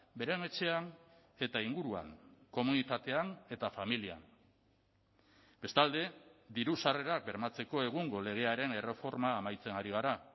beren etxean eta inguruan komunitatean eta familian bestalde diru sarrerak bermatzeko egungo legearen erreforma amaitzen ari gara